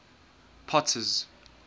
potter's